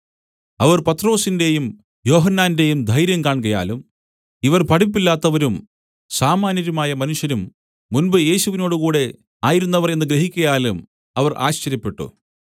അവർ പത്രൊസിന്റെയും യോഹന്നാന്റെയും ധൈര്യം കാൺകയാലും ഇവർ പഠിപ്പില്ലാത്തവരും സാമാന്യരുമായ മനുഷ്യരും മുൻപ് യേശുവിനോടുകൂടെ ആയിരുന്നവർ എന്നു ഗ്രഹിക്കയാലും അവർ ആശ്ചര്യപ്പെട്ടു